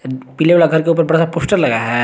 पीले वाले के घर के ऊपर बड़ा सा पोस्टर लगाया है।